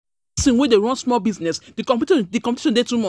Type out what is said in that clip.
As pesin wey dey run small business, um di competition dey um too much.